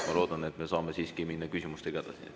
Ma loodan, et me saame siiski minna küsimustega edasi.